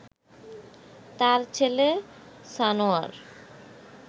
তার ছেলে সানোয়ার